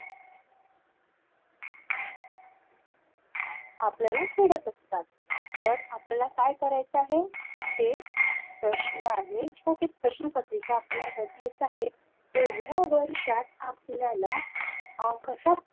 आपल्याला फेडत असतात तर आपल्याला काय करायचं आहे ते प्रश्न आहे किंवा ते प्रश्नपत्रिका आपल्याला बघायच आहे एवढ्या वर्षात आपल्याला अह कशा